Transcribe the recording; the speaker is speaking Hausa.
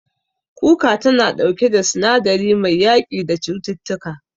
Kuka tana ɗauke da sinadari mai yaƙi da cututtuka.